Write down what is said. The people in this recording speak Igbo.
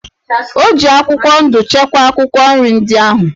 O ji akwụkwọ ndụ chekwaa akwụkwọ nri ndị ahụ.